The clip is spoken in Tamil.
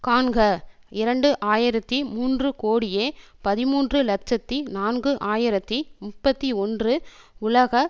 காண்க இரண்டு ஆயிரத்தி மூன்று கோடியே பதிமூன்று இலட்சத்தி நான்கு ஆயிரத்தி முப்பத்தி ஒன்று உலக